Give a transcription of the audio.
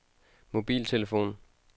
mobiltelefon